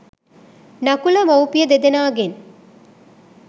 නකුල මවුපිය දෙදෙනාගෙන්